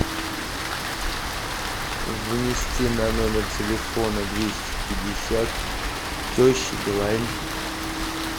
внести на номер телефона двести пятьдесят теще билайн